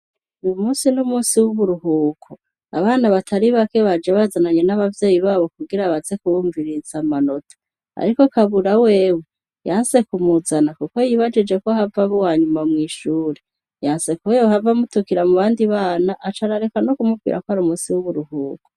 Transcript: umunsi n'umunsi w'uburuhuko abana batari bake baje bazananye n'abavyeyi babo kugira baze kubumviririza amanota ariko kabura wewe yanse kumuzana kuko yibajije ko hava aba uwanyuma mwishure yanse ko yohava amutukira mu bandi bana acarareka no kumubwira kwari umunsi w'uburuhuko